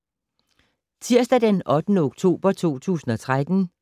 Tirsdag d. 8. oktober 2013